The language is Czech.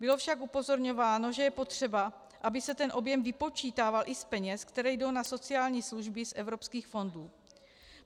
Bylo však upozorňováno, že je potřeba, aby se ten objem vypočítával i z peněz, které jdou na sociální služby z evropských fondů.